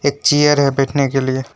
एक चेयर है बैठने के लिए।